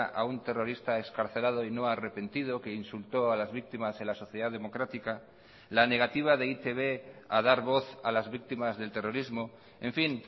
a un terrorista excarcelado y no arrepentido que insultó a las víctimas en la sociedad democrática la negativa de e i te be a dar voz a las víctimas del terrorismo en fin